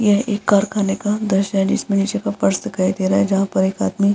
यह एक कारखाने का दृश्य है जिसमें नीचे का फर्श दिखाई दे रहा है जहां पर एक आदमी --